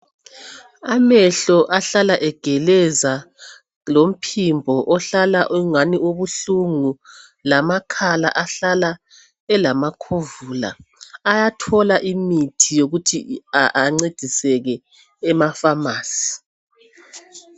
Amehlo ahlala egeleza lomphimbo ohlala ungani ubuhlungu lamakhala ahlala elamakhovula ayathola imithi yokuthi ancediseke emapharmacy .